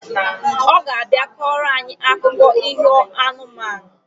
Oga abia koro anyi akuko iho anụmanụ